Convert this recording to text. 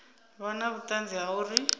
vha na vhuṱanzi ha uri